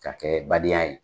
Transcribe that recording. K'a kɛ badenya ye.